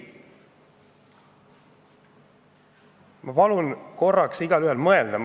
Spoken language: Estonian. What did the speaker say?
Ma palun korraks igaühel mõelda!